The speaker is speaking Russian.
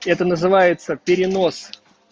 это называется перенос